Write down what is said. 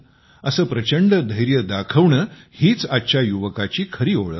असे प्रचंड धैर्य दाखवणे हीच आजच्या युवकाची खरी ओळख आहे